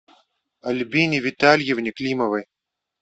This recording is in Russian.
альбине витальевне климовой